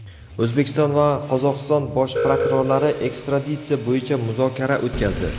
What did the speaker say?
O‘zbekiston va Qozog‘iston bosh prokurorlari ekstraditsiya bo‘yicha muzokara o‘tkazdi.